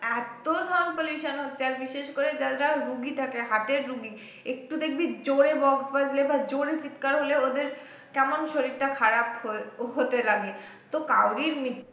এত sound pollution হচ্ছে আর বিশেষ করে যারা যারা রুগী থাকে heart এর রুগী একটু দেখবি জোরে box বাজলে বা জোরে চিৎকার হলে ওদের কেমন শরীরটা খারাপ হয়ে হতে লাগে তো কারোরির মৃত্যুর